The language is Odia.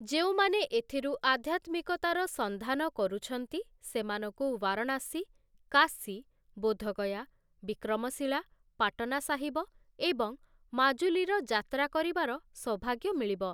ଯେଉଁମାନେ ଏଥିରୁ ଆଧ୍ୟାତ୍ମିକତାର ସନ୍ଧାନ କରୁଛନ୍ତି, ସେମାନଙ୍କୁ ବାରଣାସୀ, କାଶୀ, ବୋଧଗୟା, ବିକ୍ରମଶିଳା, ପାଟନା ସାହିବ ଏବଂ ମାଜୁଲୀର ଯାତ୍ରା କରିବାର ସୌଭାଗ୍ୟ ମିଳିବ ।